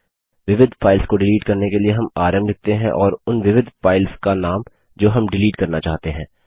विविध फाइल्स को डिलीट करने के लिए हम आरएम लिखते हैं और उन विविध फाइल्स का नाम जो हम डिलीट करना चाहते हैं